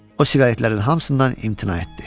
O siqaretlərin hamısından imtina etdi.